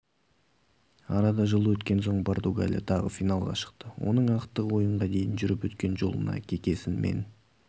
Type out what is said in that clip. арада жыл өткен соң португалия тағы финалға шықты оның ақтық ойынға дейін жүріп өткен жолына кекесінмен